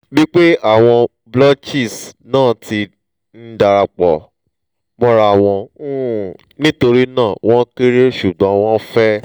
bipe awon blotches na ti n darapo morawon um nitorina won kere sugbon won fe